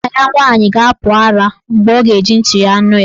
Nwanna ya nwaanyị ga-apụ ara mgbe ọ ga-eji ntị nụ ya.